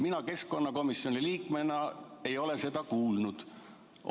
Mina keskkonnakomisjoni liikmena ei ole seda kuulnud.